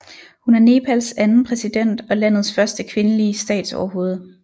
Hun er Nepals anden præsident og landets første kvindelige statsoverhoved